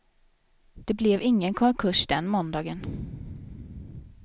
Det blev ingen konkurs den måndagen.